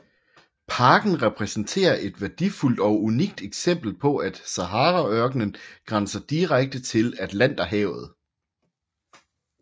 Parken repræsenterer et værdifuldt og unikt eksempel på at Saharaørkenen grænser direkte til Atlanterhavet